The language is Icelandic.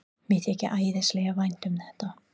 Mér þykir æðislega vænt um þetta.